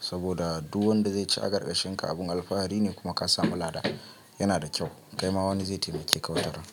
saboda duk wanda zai ci a garkashin ka abun alfahari ne. Kuma ka samu lada yana da kyau, kaima wani zai taimake ka wataran.